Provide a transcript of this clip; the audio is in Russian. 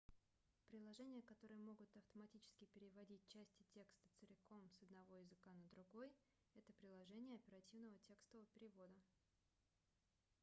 приложения которые могут автоматически переводить части текста целиком с одного языка на другой это приложения оперативного текстового перевода